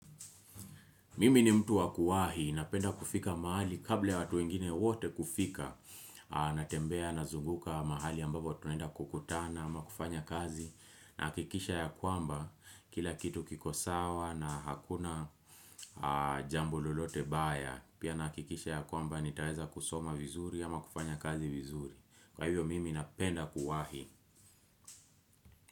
Mimi ni mtu wakuwahi, napenda kufika mahali kabla watu wingine wote kufika, natembea na zunguka mahali ambapo tunenda kukutana ama kufanya kazi, nahakikisha ya kwamba kila kitu kiko sawa na hakuna jambo lolote baya, pia nahikikisha ya kwamba nitaeza kusoma vizuri ama kufanya kazi vizuri. Kwa hivyo mimi napenda kuwahi.